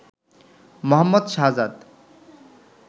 Mohammad Shahzad